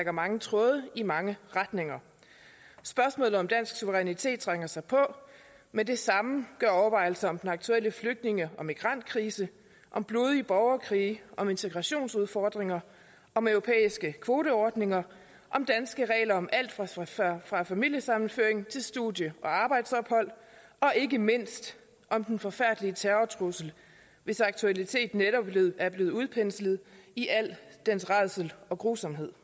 mange tråde i mange retninger spørgsmålet om dansk suverænitet trænger sig på men det samme gør overvejelser om den aktuelle flygtninge og migrantkrise om blodige borgerkrige om integrationsudfordringer om europæiske kvoteordninger om danske regler om alt fra familiesammenføring til studie og arbejdsophold og ikke mindst om den forfærdelige terrortrussel hvis aktualitet netop er blevet udpenslet i al dens rædsel og grusomhed